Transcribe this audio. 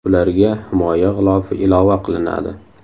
Ularga himoya g‘ilofi ilova qilinadi.